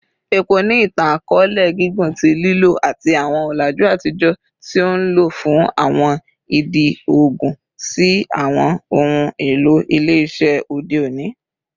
Epo ni itan-akọọlẹ gigun ti lilo, lati awọn ọlaju atijọ ti o nlo fun awọn idi oogun si awọn ohun elo ile-iṣẹ ode oni.